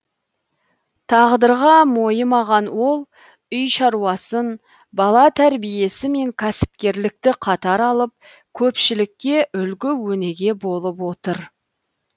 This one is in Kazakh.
тағдырға мойымаған ол үй шаруасын бала тәрбиесі мен кәсіпкерлікті қатар алып көпшілікке үлгі өнеге болып отыр